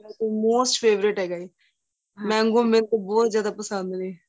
most favorite ਹੈਗਾ ਏ mango ਮੇਰੇ ਕੋ ਬਹੁਤ ਜਿਆਦਾ ਪਸੰਦ ਨੇ